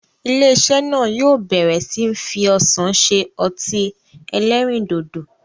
Ilé-iṣẹ́ náà yóò bẹ̀ẹ̀rẹ̀ sí ní fi ọsàn se ọtí-ẹlẹrindòdò.